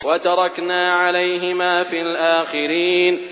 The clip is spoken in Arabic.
وَتَرَكْنَا عَلَيْهِمَا فِي الْآخِرِينَ